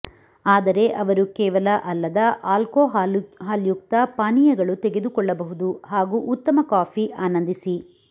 ಆದರೆ ಅವರು ಕೇವಲ ಅಲ್ಲದ ಆಲ್ಕೊಹಾಲ್ಯುಕ್ತ ಪಾನೀಯಗಳು ತೆಗೆದುಕೊಳ್ಳಬಹುದು ಹಾಗೂ ಉತ್ತಮ ಕಾಫಿ ಆನಂದಿಸಿ